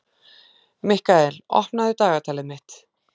Mikkael, opnaðu dagatalið mitt.